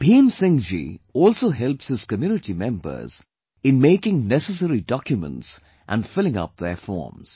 Bhim Singh ji also helps his community members in making necessary documents and filling up their forms